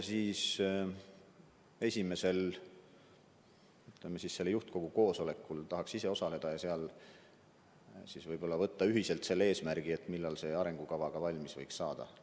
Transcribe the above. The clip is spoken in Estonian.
Esimesel juhtkogu koosolekul tahaksin ka ise osaleda ja seal võib-olla seada ühiselt eesmärgi, millal arengukava valmis võiks saada.